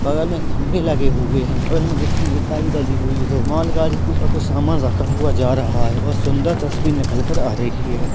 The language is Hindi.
बगल में खम्बे लगे हुए हैं बगल में गिट्टी रेता भी डली हुई है माल गाड़ी के ऊपर कुछ सामान रखा हुआ जा रहा है बहुत सुन्दर तस्वीर निकल कर आ रही है।